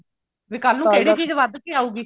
ਵੀ ਕੱਲ ਨੂੰ ਕਿਹੜੀ ਚੀਜ਼ ਵੱਧ ਕੇ ਆਉਗੀ